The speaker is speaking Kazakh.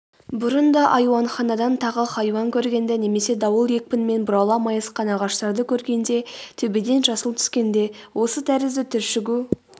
бұрын да айуанханадан тағы хайуан көргенде немесе дауыл екпінімен бұрала майысқан ағаштарды көргенде төбеден жасыл түскенде осы тәрізді түршігу